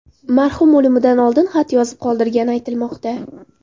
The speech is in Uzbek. Marhum o‘limidan oldin xat yozib qoldirgani aytilmoqda.